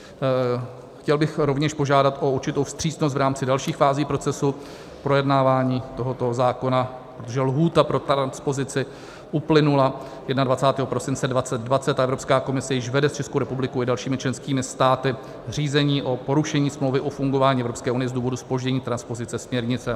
Chtěl bych rovněž požádat o určitou vstřícnost v rámci dalších fází procesu projednávání tohoto zákona, protože lhůta pro transpozici uplynula 21. prosince 2020 a Evropská komise již vede s Českou republikou i dalšími členskými státy řízení pro porušení Smlouvy o fungování Evropské unie z důvodu zpoždění transpozice směrnice.